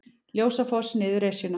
Ljósafoss niður Esjuna